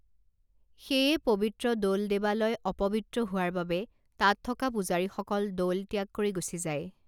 সেয়ে পবিত্ৰ দৌল দেৱালয় অপবিত্ৰ হোৱাৰ বাবে তাত থকা পূজাৰীসকল দৌল ত্যাগ কৰি গুচি যায়